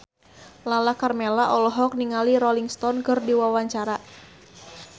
Lala Karmela olohok ningali Rolling Stone keur diwawancara